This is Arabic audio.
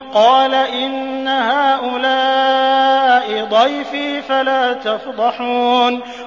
قَالَ إِنَّ هَٰؤُلَاءِ ضَيْفِي فَلَا تَفْضَحُونِ